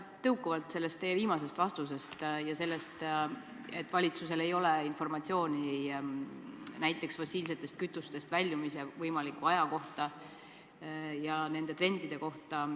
Küsin tõukuvalt teie viimasest vastusest ja sellest, et valitsusel ei ole informatsiooni näiteks fossiilsetest kütustest väljumise võimaliku aja kohta ja nende trendide kohta.